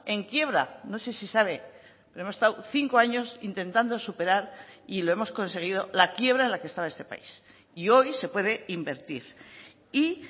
en quiebra no sé si sabe pero hemos estado cinco años intentando superar y lo hemos conseguido la quiebra en la que estaba este país y hoy se puede invertir y